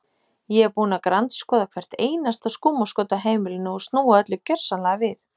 Ég er búin að grandskoða hvert einasta skúmaskot á heimilinu og snúa öllu gjörsamlega við.